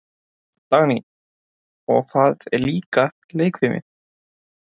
Dagný: Og það er líka leikfimi.